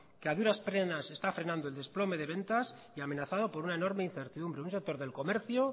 que a duras penas está frenando el desplome de ventas y amenazado por una enorme incertidumbre un sector del comercio